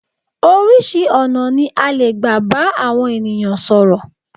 Oríṣi ọ̀nà ní a lè gbà bá àwọn ènìyàn sọ̀rọ̀.